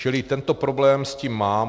Čili tento problém s tím mám.